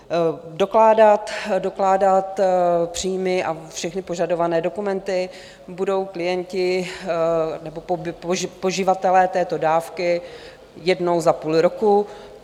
Dokládat příjmy a všechny požadované dokumenty budou klienti, nebo poživatelé této dávky, jednou za půl roku.